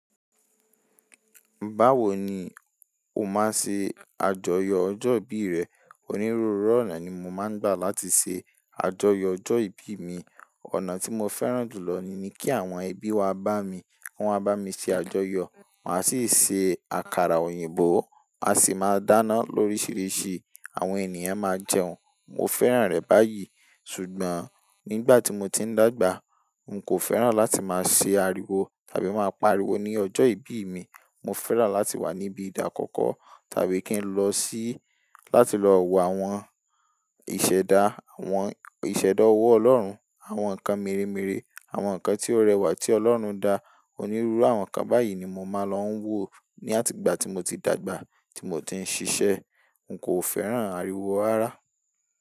Báwo ni o máa ṣe àjọyọ̀ ọjọ́ ìbí rẹ? Onírúurú ọ̀nà ni mo máa ń gbà láti ṣe àjọyọ̀ ọjọ́ ìbí mi. Ọ̀nà tí mo fẹ́ràn jù lọ ni kí àwọn ẹbí wá bá mi. Kí wọ́n wá bámi ṣe àjọyọ̀. Máa sì ṣe àkàrà òyìnbó, a sì máa dáná lóríṣiríṣi, àwọn ènìyàn máa jẹun. Mo fẹ́ràn rẹ̀ báyìí. Ṣùgbọ́n nígbà tí mo ti ń dàgbà, n kò fẹ́ràn láti máa ṣe àríwo tàbí máa pariwo ní ọjọ́ ìbí mi. Mo fẹ́ràn láti wà níbi ìdákọ́kọ́ tàbí kí n lọ sí-- láti lọ wo àwọn ìṣẹ̀dá, àwọn ìṣẹ̀dá ọwọ́ Ọlọ́run, àwọn nǹkan mèremère, àwọn nǹkan tí ó rẹwà tí Ọlọ́run dá. Onírúurú àwọn nǹkan báyìí ni mo máa lọ ń wo ní àtìgbà tí mo ti dàgbà, tí mo ti ń ṣiṣẹ́. N kò fẹ́ràn àríwo ara.